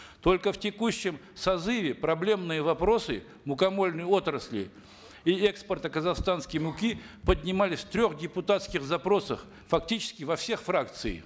только в текущем созыве проблемные вопросы мукомольной отрасли и экспорта казахстанской муки поднимались в трех депутатских запросах фактически во всех фракциях